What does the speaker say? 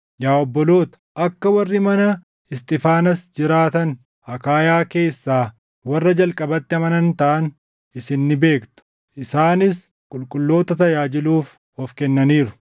Yaa obboloota, akka warri mana Isxiifaanaas jiraatan Akaayaa keessaa warra jalqabatti amanan taʼan isin ni beektu; isaanis qulqulloota tajaajiluuf of kennaniiru.